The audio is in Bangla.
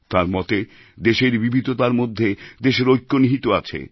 তাঁর মতে দেশের বিবিধতার মধ্যে দেশের ঐক্য নিহিত আছে